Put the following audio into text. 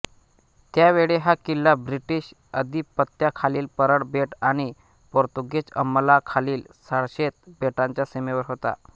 त्यावेळी हा किल्ला ब्रिटिश आधिपत्याखालील परळ बेट आणि पोर्तुगीज अंमलाखालील साळशेत बेटांच्या सीमेवर होता